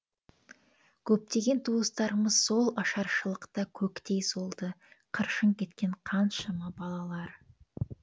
көптеген туыстарымыз сол ашаршылықта көктей солды қыршын кеткен қаншама балалар